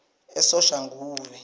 esoshanguve